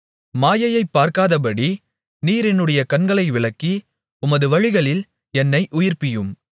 மாயையைப் பார்க்காதபடி நீர் என்னுடைய கண்களை விலக்கி உமது வழிகளில் என்னை உயிர்ப்பியும்